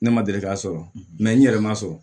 Ne ma deli ka sɔrɔ n yɛrɛ ma sɔrɔ